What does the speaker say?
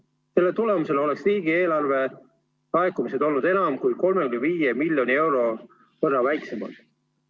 Selle tagajärjel oleks riigieelarve laekumised olnud enam kui 35 miljoni euro võrra väiksemad.